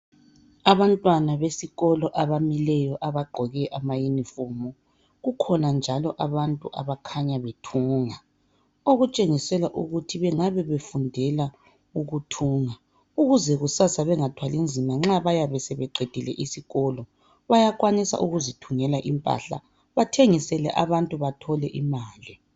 Abantwana besikolo abamileyo abagqoke ama uniform. Kukhona njalo abantu abakhanya bethunga. Okutshengisela ukuthi bengabe befundela ukuthunga ukuze kusasa bengathwali nzima nxa bayabe sebeqedile isikolo. Bayakwanisa ukuziithungela impahla bathengisele abantu bathole imali .